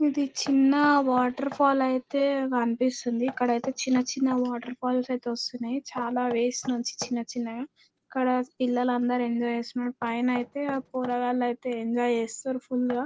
ఇది చిన్న వాటర్ఫాల్ ఐతే కనిపిస్తుంది .ఇక్కడైతే చిన్న చిన్న వాటర్ ఫాల్స్ ఐతే వస్తున్నాయి చాల వేవ్స్ నుండి చిన్న చిన్నా గ .ఇక్కడ పిల్లలందరు ఎంజాయ్ చేస్తున్రు పైన ఐతే పోరగాళ్లయితే ఎంజాయ్ చేస్తారు ఫుల్ గ.